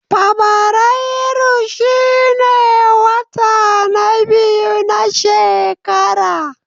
Fabrairu shine wata na biyu na shekara.